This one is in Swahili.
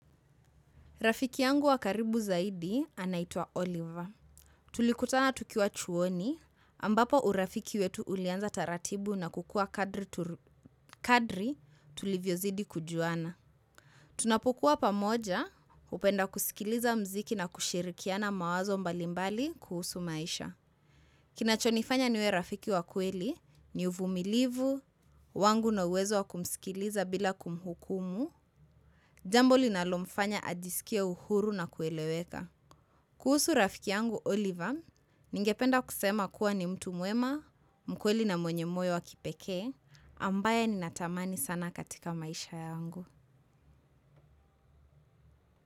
Rafiki yangu wakaribu zaidi anaitwa Oliver. Tulikutana tukiwa chuoni ambapo urafiki wetu ulianza taratibu na kukuwa kadri tulivyozidi kujuana. Tunapukua pamoja hupenda kusikiliza muziki na kushirikiana mawazo mbalimbali kuhusu maisha. Kinachonifanya niwe rafiki wa kweli ni uvumilivu, wangu na uwezo wa kumsikiliza bila kumhukumu. Jambo linalomfanya ajiskie uhuru na kueleweka kuhusu rafiki yangu Oliver, ningependa kusema kuwa ni mtu mwema, mkweli na mwenye moyo wa kipekee, ambaye nina tamani sana katika maisha yangu.